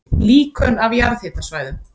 Líkön af jarðhitasvæðum